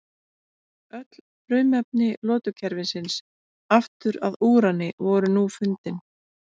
Öll frumefni lotukerfisins aftur að úrani voru nú fundin.